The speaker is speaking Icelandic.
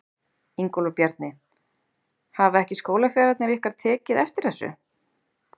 Ingólfur Bjarni: Hafa ekki skólafélagarnir ykkar tekið eftir þessu?